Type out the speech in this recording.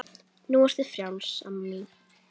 Nú ertu frjáls amma mín.